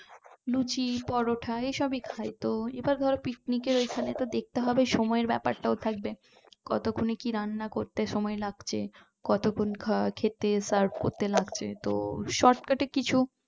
লুচি পরোটা এসবই খাইতো আবার ধরো picnic এর এখানেতো দেখতে হবে সময় এর ব্যাপারটাও থাকবে কতক্ষনে কি রান্না করতে সময় লাগছে কতক্ষন খেতে serve করতে লাগছে তো shortcut এ কিছু